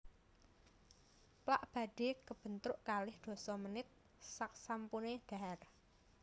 Plak badhe kebentuk kalih dasa menit saksampune dhahar